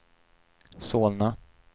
Solna